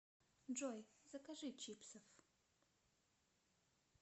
джой закажи чипсов